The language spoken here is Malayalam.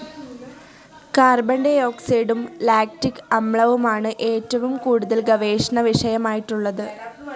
കാർബൺ ഡി ഓക്സൈഡും ലാക്റ്റിക്‌ അമ്ലവും ആണ്‌ ഏറ്റവും കൂടുതൽ ഗവേഷണ വിഷയമായിട്ടുള്ളത്‌